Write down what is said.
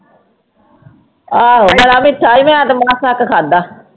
ਆਹੋ ਬੜਾ ਮਿੱਠਾ ਸੀ ਮੈਂ ਅੱਧ ਮਸਾਂ ਕੁ ਖਾਧਾ।